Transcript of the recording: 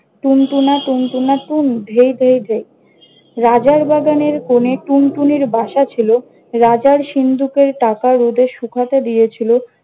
টুনটুনা টুনটুনা টুন ধেই ধেই ধেই, রাজার বাগানের কোনে টুনটুনির বাসা ছিল। রাজার সিন্দুকের টাকা রোদে শুকাতে দিয়েছিল।